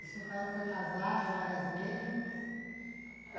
No seu caso foi casado várias vezes?